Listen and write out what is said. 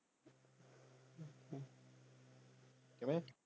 ਕਿਵੇਂ?